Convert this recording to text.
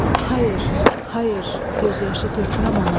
Xeyr, xeyr, göz yaşı tökməm ona!